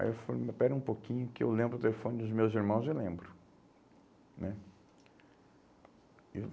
Aí eu falei, espera um pouquinho que eu lembro o telefone dos meus irmãos, eu lembro né?